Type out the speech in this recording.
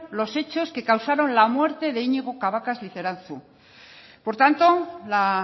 los hechos que causaron la muerte de iñigo cabacas liceranzu por tanto la